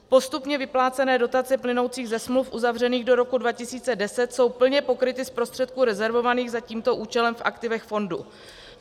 Postupně vyplácené dotace plynoucí ze smluv uzavřených do roku 2010 jsou plně pokryty z prostředků rezervovaných za tímto účelem v aktivech fondu.